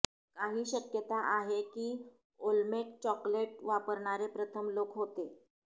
काही शक्यता आहे की ओल्मेक चॉक्लेट वापरणारे प्रथम लोक होते